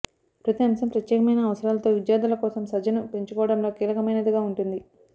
ప్రతి అంశం ప్రత్యేకమైన అవసరాలతో విద్యార్ధుల కోసం సజ్జను పెంచుకోవడంలో కీలకమైనదిగా ఉంటుంది